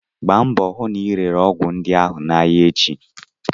Gbaa mbọ hụ na ị rere ọgwụ ndị ahụ n'ahịa echi!